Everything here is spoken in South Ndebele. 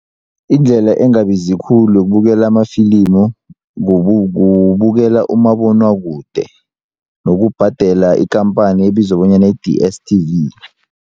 Indlela engabizi khulu yokubukela amafilimu kubukela umabonwakude nokubhadela ikhamphani ebizwa bonyana yi-DSTV.